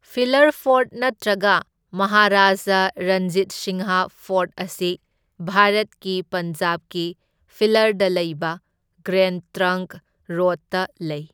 Filler fort ꯅꯠꯇ꯭ꯔꯒ Maharaja Ranjit Singh fort ꯑꯁꯤ ꯚꯥꯔꯠꯀꯤ ꯄꯟꯖꯥꯕꯀꯤ ꯐꯤꯂꯔꯗ ꯂꯩꯕ ꯒ꯭ꯔꯦꯟ ꯇ꯭ꯔꯪꯛ ꯔꯣꯗꯇ ꯂꯩ꯫